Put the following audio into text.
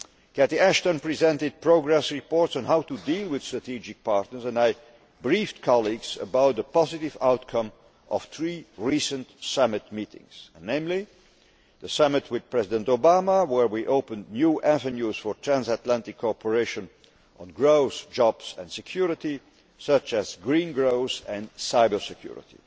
Cathy Ashton presented progress reports on how to deal with strategic partners and I briefed colleagues about the positive outcome of three recent summit meetings, namely the summit with President Obama, where we opened new avenues for transatlantic cooperation on growth, jobs and security, such as green growth and cyber security